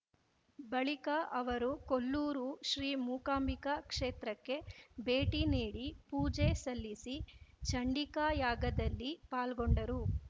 ಬಳಿಕ ಅವರು ಕೊಲ್ಲೂರು ಶ್ರೀ ಮುಕಾಂಬಿಕಾ ಕ್ಷೇತ್ರಕ್ಕೆ ಭೇಟಿ ನೀಡಿ ಪೂಜೆ ಸಲ್ಲಿಸಿ ಚಂಡಿಕಾ ಯಾಗದಲ್ಲಿ ಪಾಲ್ಗೊಂಡರು